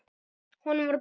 Honum var batnað.